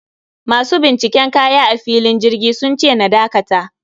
Masu binciken kaya a filin jirgi sunce na dakata